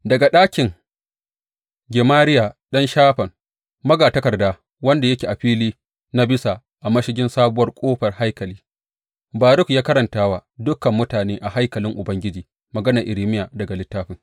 Daga ɗakin Gemariya ɗan Shafan magatakarda, wanda yake a fili na bisa a mashigin Sabuwar Ƙofar haikali, Baruk ya karanta wa dukan mutane a haikalin Ubangiji maganar Irmiya daga littafin.